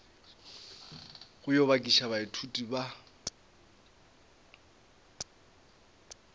go yo bakiša baithuti ba